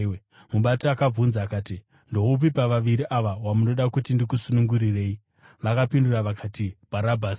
Mubati akabvunza akati, “Ndoupi pavaviri ava wamunoda kuti ndikusunungurirei?” Vakapindura vakati, “Bharabhasi!”